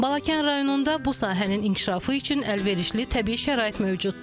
Balakən rayonunda bu sahənin inkişafı üçün əlverişli təbii şərait mövcuddur.